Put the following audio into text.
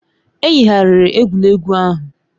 E yigharịrị egwuregwu ahụ.